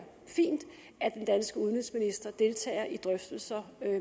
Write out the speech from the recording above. fint at den danske udenrigsminister deltager i drøftelser